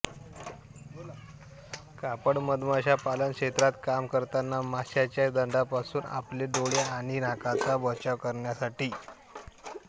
कापड मधमाशा पालन क्षेत्रात काम करताना माशांच्या दंशापासून आपले डोळे आणि नाकाचा बचाव करण्यासाठी